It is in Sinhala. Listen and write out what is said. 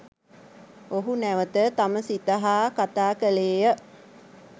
ඔහු නැවත තම සිත හා කතා කළේය